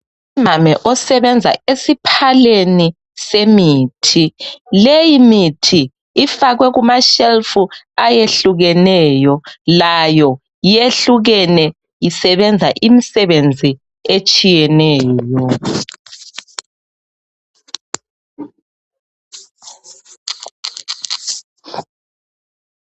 Umame osebenza esiphaleni semithi. Leyimithi ifakwe kumashelufu ayehlukeneyo, layo yehlukene isebenza imsebenzi etshiyeneyo.